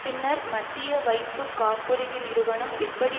பின்னர் மத்திய வைப்பு காப்புறுதி நிறுவனம் எப்படி